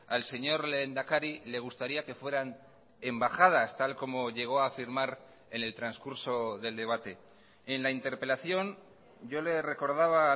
al señor lehendakari le gustaría que fueran embajadas tal como llegó a firmar en el transcurso del debate en la interpelación yo le recordaba